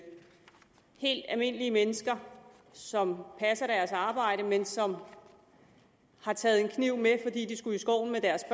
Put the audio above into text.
helt almindelige mennesker som passer deres arbejde men som har taget en kniv med fordi de skulle i skoven med deres